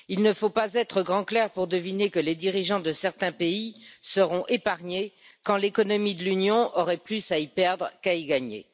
Il ne faut pas être grand clerc pour deviner que les dirigeants de certains pays seront épargnés quand l'économie de l'Union aurait plus à y perdre qu'à y gagner.